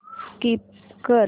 skip कर